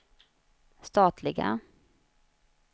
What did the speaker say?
statliga